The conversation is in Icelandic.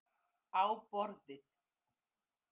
Á borðið.